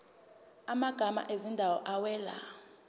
amagama ezindawo awela